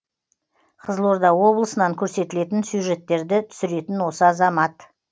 қызылорда облысынан көрсетілетін сюжеттерді түсіретін осы азамат